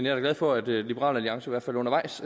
er da glad for at liberal alliance i hvert fald undervejs